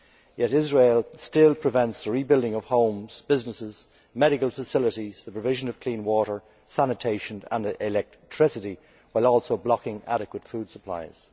Yet Israel still prevents the rebuilding of homes, businesses, medical facilities, and the provision of clean water, sanitation and electricity while also blocking adequate food supplies.